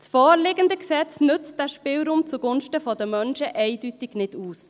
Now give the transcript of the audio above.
Das vorliegende Gesetz nutzt diesen Spielraum zugunsten der Menschen eindeutig nicht aus.